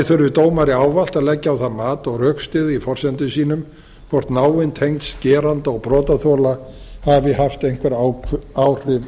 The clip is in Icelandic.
þurfi dómari ávallt að leggja á það mat og rökstyðja í forsendum sínum hvort náin tengsl geranda og brotaþola hafi haft einhver áhrif